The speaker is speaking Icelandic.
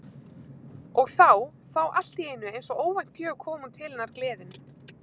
Og þá- þá allt í einu eins og óvænt gjöf kom hún til hennar gleðin.